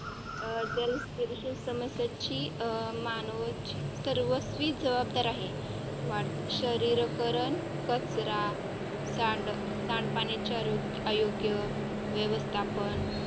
जल प्रदूषण समस्यांची मानवाची सर्वस्वी जबाबदार आहे. शहरीकरण, कचरा सांड सांडपाण्याचे योग्य व्यवस्थापन